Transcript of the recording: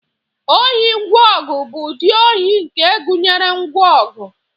ohi ngwa ọgụ bụ ụdị ohi nke gụnyere ngwa ọgụ